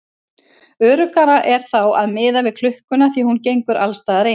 Öruggara er þá að miða við klukkuna því að hún gengur alls staðar eins.